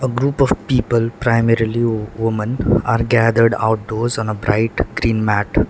group of people primarily wo women are gathered outdoors on a bright green mat.